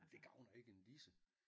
Det gavner ikke en disse